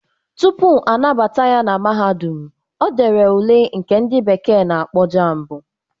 Tupu anabata ya na mahadum, o dere ule nke ndị bekee na-akpọ JAMB.